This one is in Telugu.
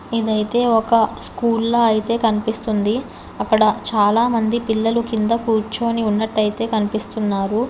ఇదైతే ఒక స్కూల్లో అయితే కనిపిస్తుంది అక్కడ చాలామంది పిల్లలు కింద కూర్చొని ఉన్నట్లయితే కనిపిస్తున్నారు.